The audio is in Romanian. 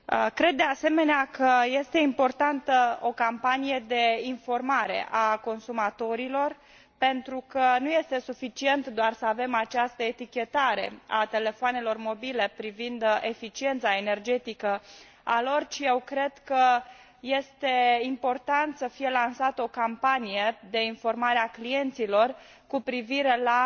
Cred de asemenea că este importantă o campanie de informare a consumatorilor, pentru că nu este suficient doar să avem această etichetare a telefoanelor mobile privind eficiența lor energetică, ci eu cred că este important să fie lansată o campanie de informare a clienților cu privire la